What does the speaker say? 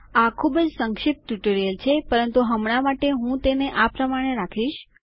આ ખૂબ જ સંક્ષિપ્ત ટ્યુટોરીયલ છે પરંતુ હમણાં માટે હું તેને આ પ્રમાણે રાખીશ